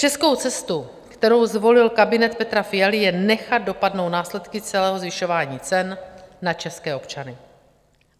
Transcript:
Českou cestou, kterou zvolil kabinet Petra Fialy, je nechat dopadnout následky celého zvyšování cen na české občany.